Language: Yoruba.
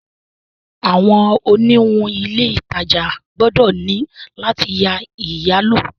Awọn oniwun ile itaja gbọdọ ni lati ya iyalo